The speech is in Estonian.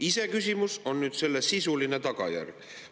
Iseküsimus on nüüd selle sisuline tagajärg.